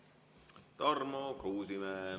Tarmo Kruusimäe.